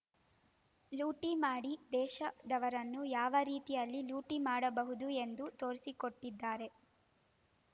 ಲೂಟಿ ಮಾಡಿ ದೇಶದವರನ್ನು ಯಾವ ರೀತಿಯಲ್ಲಿ ಲೂಟಿ ಮಾಡಬಹುದು ಎಂದು ತೋರಿಸಿಕೊಟ್ಟಿದ್ದಾರೆ